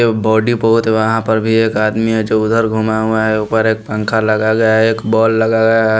Body बहुत है वहाँ पर भी एक आदमी है जो उधर घूमा हुआ है ऊपर एक पंखा लगा गया है एक बॉल लगा गया है।